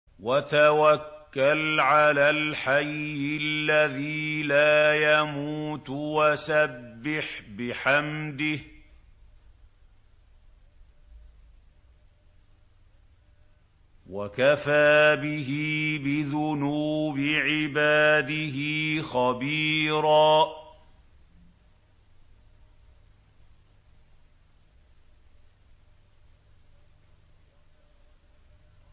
وَتَوَكَّلْ عَلَى الْحَيِّ الَّذِي لَا يَمُوتُ وَسَبِّحْ بِحَمْدِهِ ۚ وَكَفَىٰ بِهِ بِذُنُوبِ عِبَادِهِ خَبِيرًا